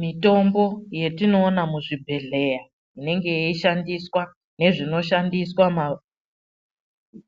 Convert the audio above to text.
Mitombo yetinoona muzvibhehlera inenge yeishandiswa nezvinoshandiswa